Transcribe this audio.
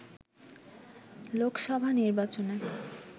লোকসভা নির্বাচনে